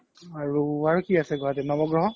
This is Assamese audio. আৰু, আৰু কি আছে গুৱাহাতিত নবগ্ৰহ